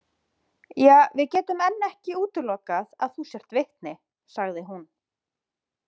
Ja, við getum enn ekki útilokað að þú sért vitni, sagði hún.